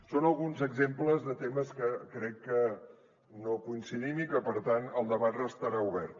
són alguns exemples de temes en què crec que no coincidim i que per tant el debat restarà obert